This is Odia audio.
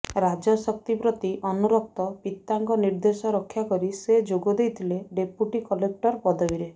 ରାଜଶକ୍ତି ପ୍ରତି ଅନୁରକ୍ତ ପିତାଙ୍କ ନିର୍ଦ୍ଦେଶ ରକ୍ଷାକରି ସେ ଯୋଗଦେଇଥିଲେ ଡେପୁଟି କଲେକ୍ଟର ପଦବୀରେ